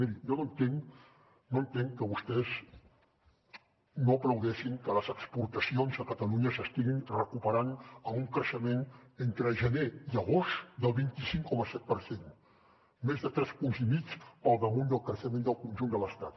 miri jo no entenc no entenc que vostès no aplaudeixin que les exportacions a catalunya s’estiguin recuperant amb un creixement entre gener i agost del vint cinc coma set per cent més de tres punts i mig pel damunt del creixement del conjunt de l’estat